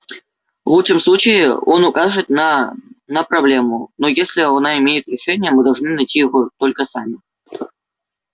в лучшем случае он укажет на на проблему но если она имеет решение мы должны найти его только сами